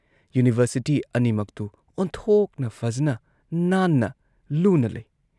University ꯑꯅꯤꯃꯛꯇꯨ ꯑꯣꯟꯊꯣꯛꯅ ꯐꯖꯅ ꯅꯥꯟꯅ ꯂꯨꯅ ꯂꯩ ꯫